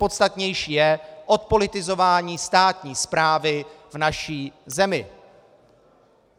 Podstatnější je odpolitizování státní správy v naší zemi.